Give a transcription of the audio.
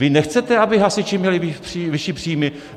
Vy nechcete, aby hasiči měli vyšší příjmy?